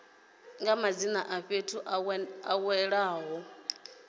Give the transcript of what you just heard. madzina a fhethu a welaho